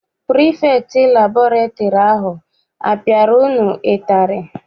Pirifektị liburary ahụ a piara unu ụtarị?